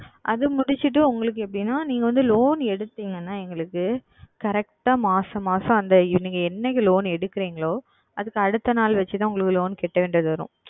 அது முடித்து விட்டு உங்களுக்கு எப்படி என்றால் நீங்கள் வந்து Loan எடுத்தீர்கள் என்றால் எங்களுக்கு Correct ஆ மாதம் மாதம் நீங்கள் என்றைக்கு Loan எடுக்கிறீர்களோ அதற்கு அடுத்த நாள் வைத்து தான் உங்களுக்கு Loan செலுத்த வேண்டியது வரும்